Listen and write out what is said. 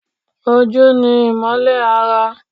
Ojú ni imole ara.